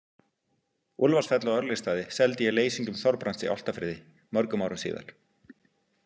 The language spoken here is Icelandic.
Úlfarsfell og Örlygsstaði seldi ég leysingjum Þorbrands í Álftafirði mörgum árum síðar.